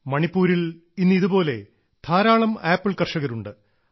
മണിപ്പൂരിൽ ഇന്ന് ഇതുപോലെ ധാരാളം ആപ്പിൾ കർഷകരുണ്ട്